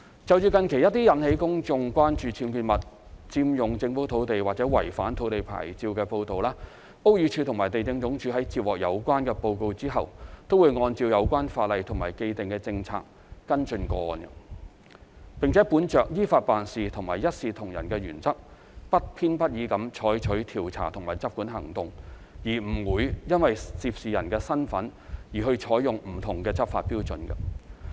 就近期一些引起公眾關注僭建物、佔用政府土地或違反土地牌照的報道，屋宇署和地政總署在接獲有關報告後，均會按照有關法例及既定政策跟進個案，並本着依法辦事和一視同仁的原則，不偏不倚地採取調查及執管行動，不會因涉事人的身份而採用不同的執法標準。